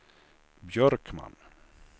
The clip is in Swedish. Björkman